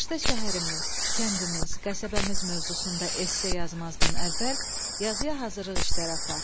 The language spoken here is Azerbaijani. Qışda şəhərimiz, kəndimiz, qəsəbəmiz mövzusunda esse yazmazdan əvvəl, yazıya hazırlıq işləri apar.